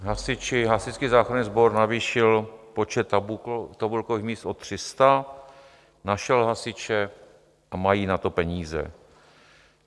Hasiči, Hasičský záchranný sbor navýšil počet tabulkových míst o 300, našel hasiče a mají na to peníze.